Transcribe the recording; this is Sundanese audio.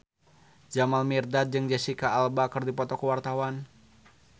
Jamal Mirdad jeung Jesicca Alba keur dipoto ku wartawan